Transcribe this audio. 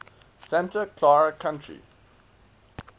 santa clara county